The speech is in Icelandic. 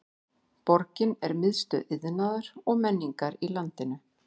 Borgin er miðstöð iðnaðar og menningar í landinu.